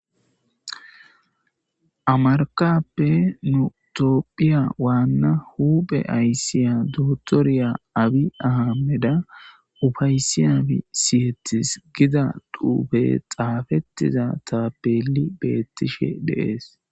Amarkappe nu toophphiya waanna huphe ayssiya dootoriya abi ahameda ufaysi abi siyetis gida duube xaafettiza taapeli beettishe deees.